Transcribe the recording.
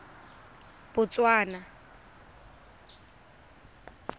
botswana